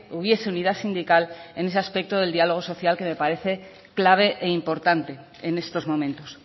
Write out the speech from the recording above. hubiese unidad sindical en ese aspecto del diálogo social que me parece clave e importante en estos momentos